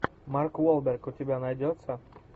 марк уолберг у тебя найдется